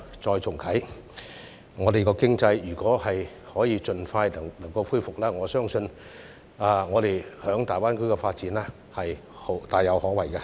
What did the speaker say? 如果香港的經濟可以盡快復蘇，我相信我們在大灣區的發展是大有可為的。